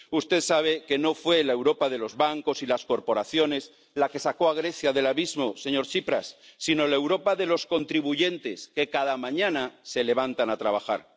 Usted sabe que no fue la Europa de los bancos y las corporaciones la que sacó a Grecia del abismo, señor Tsipras, sino la Europa de los contribuyentes, que cada mañana se levantan a trabajar.